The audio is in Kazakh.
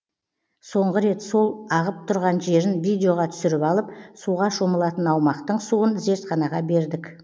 соңғы рет сол ағып тұрған жерін видеоға түсіріп алып суға шомылатын аумақтың суын зертханаға бердік